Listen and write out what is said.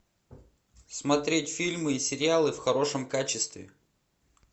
смотреть фильмы и сериалы в хорошем качестве